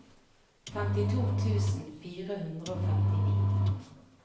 femtito tusen fire hundre og femtini